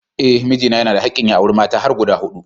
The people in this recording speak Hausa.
Eh mijina yana da hakkin ya auri mata har guda hudu